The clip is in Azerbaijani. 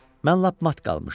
Mən lap mat qalmışdım.